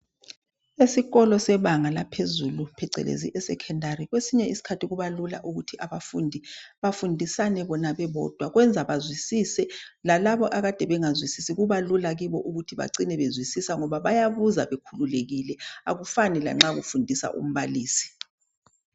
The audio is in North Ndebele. Esikolo sebanga laphezulu Phecelezi eSecondary kwesinye isikhathi kubalula ukuthi abafundi bafundisane bona bebodwa kwenza bazwisise lalabo akade bengazwisisi Kubalula kubo ukuthi bacine bezwisisa ngoba bayabuza bekhululekile akufani lanxa kufundisa umbalisi